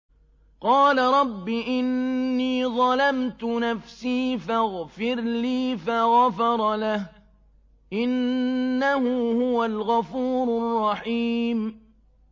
قَالَ رَبِّ إِنِّي ظَلَمْتُ نَفْسِي فَاغْفِرْ لِي فَغَفَرَ لَهُ ۚ إِنَّهُ هُوَ الْغَفُورُ الرَّحِيمُ